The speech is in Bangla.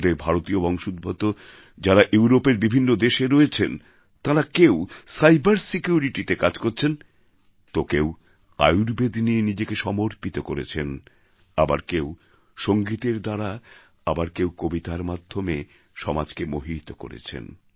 আমাদের ভারতীয় বংশোদ্ভূত লোক যারা ইউরোপের বিভিন্ন দেশে রয়েছেন তাঁরা কেউ সাইবার Securityতে কাজ করছেন তো কেউ আয়ুর্বেদ নিয়ে নিজেকে সমর্পিত করেছেন আবার কেউ সঙ্গীতের দ্বারা আবার কেউ কবিতার মাধ্যমে সমাজকে মোহিত করেছেন